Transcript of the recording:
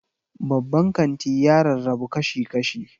Babban kanti ya rarrabu kashi-kashi.